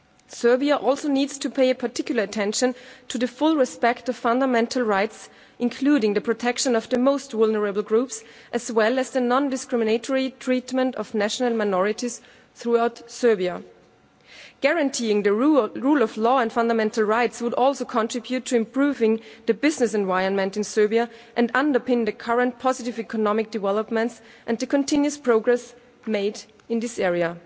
Serbia also needs to pay particular attention to full respect for fundamental rights, including the protection of the most vulnerable groups, as well as the non discriminatory treatment of national minorities throughout Serbia. Guaranteeing the rule of law and fundamental rights would also contribute to improving the business environment in Serbia and underpin the current positive economic developments and the continuous progress made in this area.